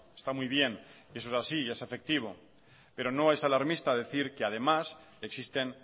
está muy bien y eso es así y es efectivo pero no es alarmista decir que además existen